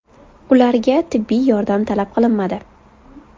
Ularga tibbiy yordam talab qilinmadi.